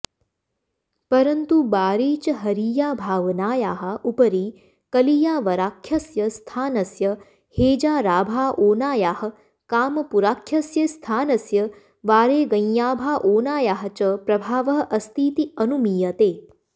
परन्तु बारेचहरीयाभावनायाः उपरि कलियावराख्यस्य स्थानस्य हेजाराभाओनायाः कामपुराख्यस्य स्थानस्य वारेगञाभाओनायाः च प्रभावः अस्तीति अनुमीयते